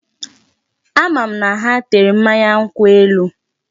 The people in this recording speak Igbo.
Ama m na ha tere mmanya nkwụ elu.